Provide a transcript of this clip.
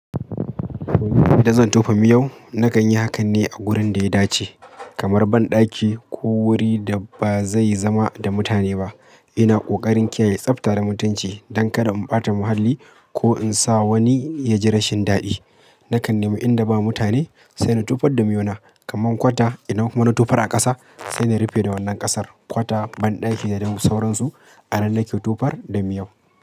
Idan zan tofa miyau nakan yi hakan ne a wurin da ya dace kamar banɗaki ko wuri da ba zai zama da mutane ba. Ina ƙoƙarin kiyaye tsafta da mutunci don kada in ɓata muhalli ko in sa wani ya ji rashin daɗi. Nakan nema inda ba mutane sai na tofar da miyauna. Kaman kwata idan kuma na tofar a ƙasa sai na rufe da wannan ƙasar. Kwata, banɗaki da sauransu anan nake tofar da miyau.